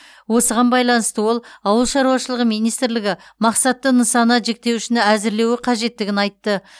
осыған байланысты ол ауыл шаруашылығы министрлігі мақсатты нысана жіктеуішін әзірлеуі қажеттігін айтты